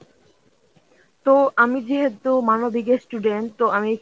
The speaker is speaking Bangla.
তো আমি যেহেতু মানবিকের student তো আমি